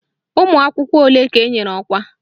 Ụmụakwụkwọ ole ka enyere ọkwa?